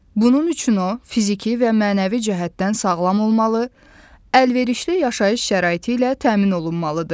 Bunun üçün o fiziki və mənəvi cəhətdən sağlam olmalı, əlverişli yaşayış şəraiti ilə təmin olunmalıdır.